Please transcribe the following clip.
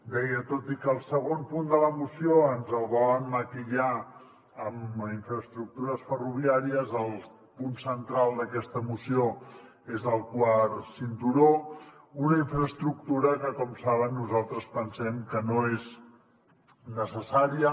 deia tot i que el segon punt de la moció ens el volen maquillar amb infraestructures ferroviàries el punt central d’aquesta moció és el quart cinturó una infraestructura que com saben nosaltres pensem que no és necessària